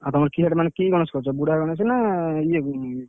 ଆଉ ତମର କି ଗଣେଶ କରୁଛ ବୁଢା ଗଣେଶ ନା ଇଏ ଗଣେଶ?